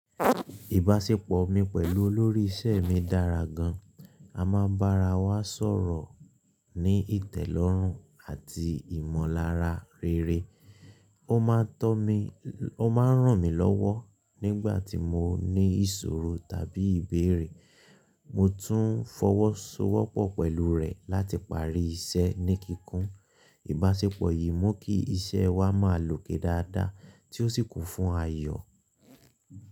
Ìbáṣepọ̀ mi pẹ̀lú olórí iṣẹ́ mi dára gan-an. A máa ń bára wa sọ̀rọ̀ ní ìtẹ̀lọ́rùn àti ìmọ̀lára rere. Ó máa ń tọ̀ mí, ó máa ń ràn mí lọ́wọ́ nígbà tí mo ní ìṣòro tàbí ìbéèrè. Mo tún ń fọwọ́sowọ́pọ̀ pẹ̀lú rẹ̀ láti parí iṣẹ́ ní kíkún. Ìbáṣepọ̀ yìí mú kí iṣẹ́ wa máa lòkè dáadáa tí ó sì kún fún ayọ.